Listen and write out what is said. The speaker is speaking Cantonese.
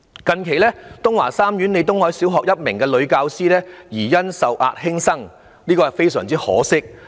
近期東華三院李東海小學的一名女教師疑因受壓輕生，這是非常可惜的。